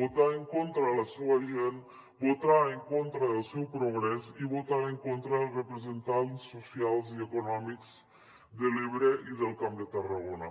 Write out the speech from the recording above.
votar en contra de la seua gent votar en contra del seu progrés i votar en contra dels representants socials i econòmics de l’ebre i del camp de tarragona